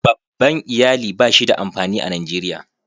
Babban Iyali ba shi da amfani a Najeriya.